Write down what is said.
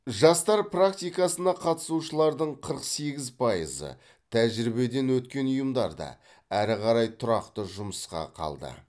жастар практикасына қатысушылардың қырық сегіз пайызы тәжірибеден өткен ұйымдарда әрі қарай тұрақты жұмысқа қалды